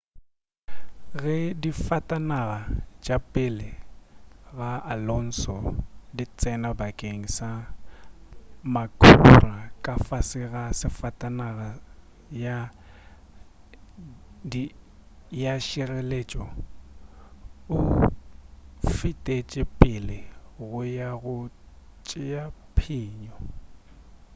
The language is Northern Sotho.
ge disafatanaga tša pele ga alonso di tsena bakeng sa makhura ka fase ga safatanaga ya tšhireletšo o fetetše pele go ya go tšea phenyo